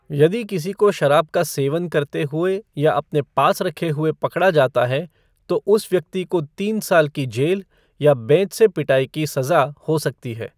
यदि किसी को शराब का सेवन करते हुए या अपने पास रखे हुए पकड़ा जाता है, तो उस व्यक्ति को तीन साल की जेल या बेंत से पिटाई की सजा हो सकती है।